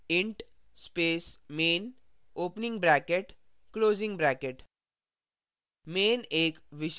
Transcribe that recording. type करें int space main opening bracket closing bracket